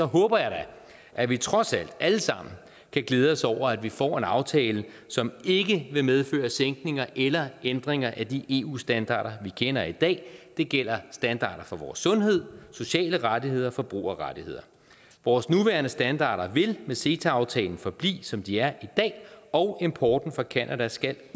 håber jeg da at vi trods alt alle sammen kan glæde os over at vi får en aftale som ikke vil medføre sænkninger eller ændringer af de eu standarder vi kender i dag det gælder standarder for vores sundhed sociale rettigheder og forbrugerrettigheder vores nuværende standarder vil med ceta aftalen forblive som de er i dag og importen fra canada skal